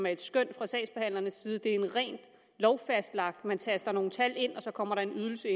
et skøn fra sagsbehandlerens side det er en rent lovfastlagt ydelse man taster nogle tal ind og så kommer der en ydelse